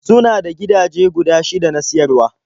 Suna da gidaje guda shida na siyarwa.